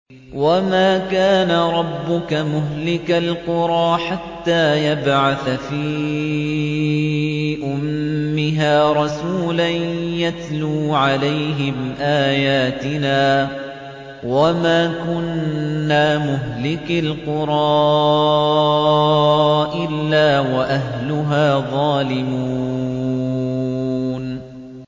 وَمَا كَانَ رَبُّكَ مُهْلِكَ الْقُرَىٰ حَتَّىٰ يَبْعَثَ فِي أُمِّهَا رَسُولًا يَتْلُو عَلَيْهِمْ آيَاتِنَا ۚ وَمَا كُنَّا مُهْلِكِي الْقُرَىٰ إِلَّا وَأَهْلُهَا ظَالِمُونَ